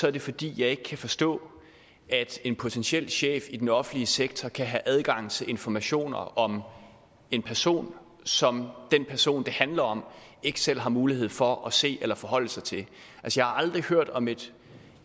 er det fordi jeg ikke kan forstå at en potentiel chef i den offentlige sektor kan have adgang til informationer om en person som den person det handler om ikke selv har mulighed for at se eller forholde sig til jeg har aldrig hørt om et